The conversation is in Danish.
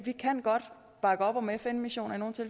bakke op om fn missioner